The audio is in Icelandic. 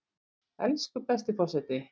Elsku besti forseti!